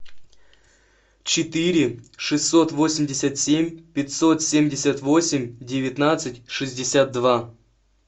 четыре шестьсот восемьдесят семь пятьсот семьдесят восемь девятнадцать шестьдесят два